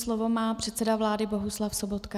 Slovo má předseda vlády Bohuslav Sobotka.